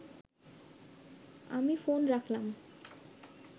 আমি ফোন রাখলাম